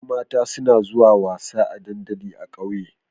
Ƴan mata suna zuwa wasa a dandali a ƙauye